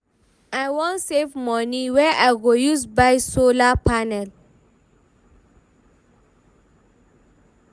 I wan save moni wey I go use buy solar panel.